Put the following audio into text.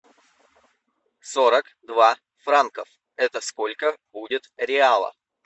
сорок два франков это сколько будет реала